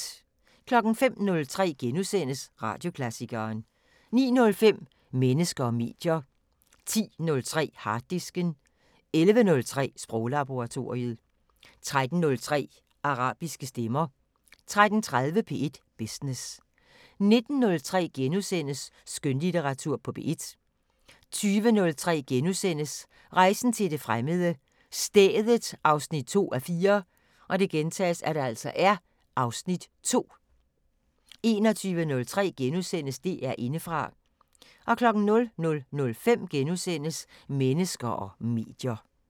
05:03: Radioklassikeren * 09:05: Mennesker og medier 10:03: Harddisken 11:03: Sproglaboratoriet 13:03: Arabiske stemmer 13:30: P1 Business 19:03: Skønlitteratur på P1 * 20:03: Rejsen til det fremmede: Stedet 2:4 (Afs. 2)* 21:03: DR Indefra * 00:05: Mennesker og medier *